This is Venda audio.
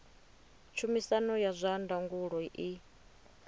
tshumisano ya zwa ndangulo i